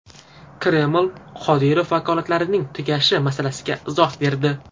Kreml Qodirov vakolatlarining tugashi masalasiga izoh berdi.